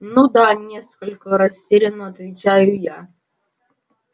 ну да несколько растеряно отвечаю я